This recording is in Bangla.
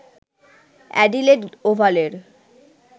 অ্যাডিলেড ওভালের